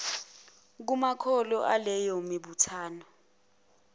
kumakhono aleyo mibuthano